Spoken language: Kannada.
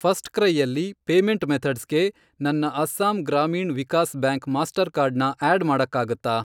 ಫರ್ಸ್ಟ್ಕ್ರೈಯಲ್ಲಿ ಪೇಮೆಂಟ್ ಮೆಥಡ್ಸ್ಗೆ ನನ್ನ ಅಸ್ಸಾಮ್ ಗ್ರಾಮೀಣ್ ವಿಕಾಸ್ ಬ್ಯಾಂಕ್ ಮಾಸ್ಟರ್ಕಾರ್ಡ್ನ ಆ್ಯಡ್ ಮಾಡಕ್ಕಾಗತ್ತಾ?